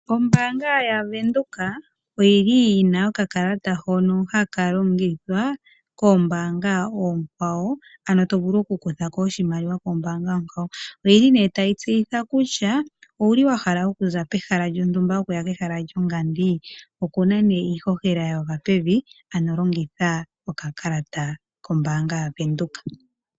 Ombaanga yaVenduka oyili yina okakalata hono haka longithwa koombaanga oonkwawo ano tovulu oku kuthako oshimaliwa kombaanga onkwawo, oyili nee tayi tseyitha kutya owuli wahala okuza pehala lyontumba okuya kehala lyongandi. Okuna nee iihohela yagwa pevi ano longitha okakalata kombaanga yaVenduka.